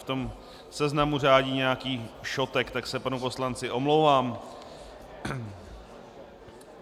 V tom seznamu řádí nějaký šotek, tak se panu poslanci omlouvám.